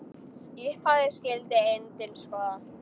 Í upphafi skyldi endinn skoða.